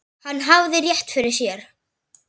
Hann hafði rétt fyrir sér.